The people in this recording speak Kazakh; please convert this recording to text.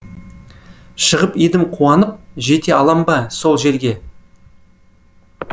шығып едім қуанып жете алам ба сол жерге